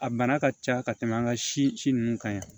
A bana ka ca ka tɛmɛ an ka si nunnu kan yan